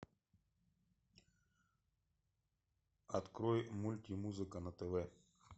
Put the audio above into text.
открой мультимузыка на тв